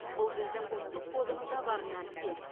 бұл біздің ұлттық кодымызда бар нәрсе